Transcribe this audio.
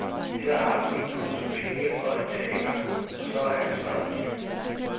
Her har du en pose penge og et teater, og så er ansvaret dit.